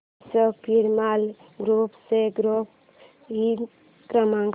Ashok Piramal group चा ग्राहक हित क्रमांक